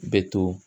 Bɛ to